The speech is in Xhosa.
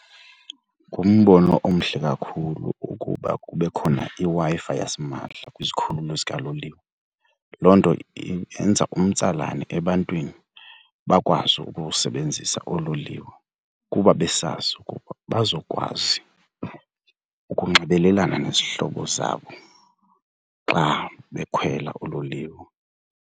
Ngumbono omhle kakhulu ukuba kube khona iWi-Fi yasimahla kwizikhululo zikaloliwe. Loo nto yenza umtsalane ebantwini bakwazi ukusebenzisa oololiwe kuba besazi ukuba bazokwazi ukunxibelelana nezihlobo zabo xa bekhwela uloliwe.